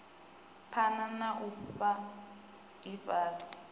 phana na u fhaa ifhasi